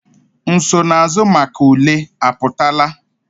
Nsonaazụ maka ule apụtala?